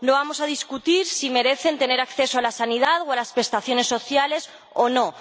No vamos a discutir si merecen tener acceso a la sanidad o a las prestaciones sociales o no.